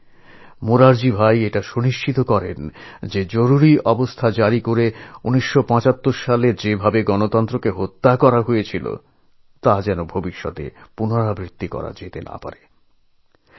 এইভাবে মোরারজীভাই সুনিশ্চিত করলেন যে ১৯৭৫ সালে যে ভাবে জরুরী অবস্থা ঘোষণা করে দেশের গণতন্ত্রকে হত্যা করা হয়েছিল তা যেন আর আগামী দিনে ফিরে না আসে